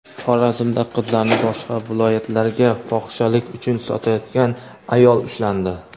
Xorazmda qizlarni boshqa viloyatlarga fohishalik uchun sotayotgan ayol ushlandi.